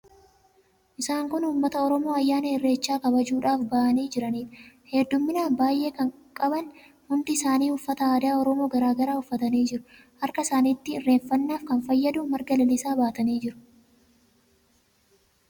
Isaan kun uummata Oromoo ayyaana Irreechaa kabajuudhaaf ba'anii jiraniidha. Heddummina baay'ee kan qaban, hundi isaanii uffata aadaa Oromoo garaa garaa uffatanii jiru. Harka isaaniitti irreeffannaaf kan fayyadu marga lalisaa baatanii jiru.